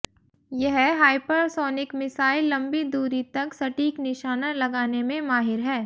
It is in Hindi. यह हाइपरसोनिक मिसाइल लंबी दूरी तक सटीक निशाना लगाने में माहिर है